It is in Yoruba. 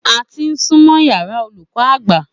A ti súnmọ́ yàrá olùkó agba